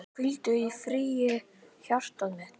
Hvíldu í friði hjartað mitt.